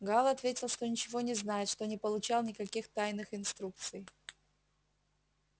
гаал ответил что ничего не знает что не получал никаких тайных инструкций